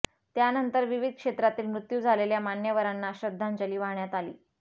त्यानंतर विविध क्षेत्रातील मृत्यू झालेल्या मान्यवरांना श्रद्धांजली वाहण्यात आली